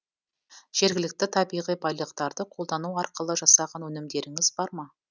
жергілікті табиғи байлықтарды қолдану арқылы жасаған өнімдеріңіз бар ма